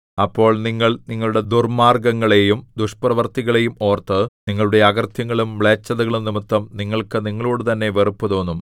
അപ്പോൾ നിങ്ങൾ നിങ്ങളുടെ ദുർമ്മാർഗ്ഗങ്ങളെയും ദുഷ്ടപ്രവൃത്തികളെയും ഓർത്ത് നിങ്ങളുടെ അകൃത്യങ്ങളും മ്ലേച്ഛതകളും നിമിത്തം നിങ്ങൾക്ക് നിങ്ങളോടുതന്നെ വെറുപ്പുതോന്നും